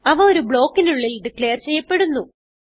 അവ ഒരു ബ്ലോക്കിനുള്ളിൽ ഡിക്ലേർ ചെയ്യപ്പെടുന്നു